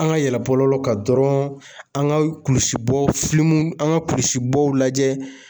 An ka yɛlɛ bɔlɔlɔw kan dɔrɔnw, an ka kulisibɔ an ka kulisi bɔw lajɛ.